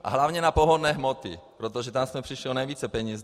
A hlavně na pohonné hmoty, protože tam jsme přišli o nejvíce peněz.